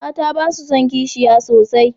Mata ba sa son kishiya sosai